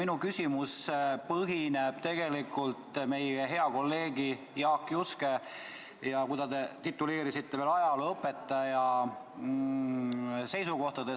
Minu küsimus põhineb tegelikult meie hea kolleegi Jaak Juske, keda te tituleerisite veel ajalooõpetajaks, seisukohtadel.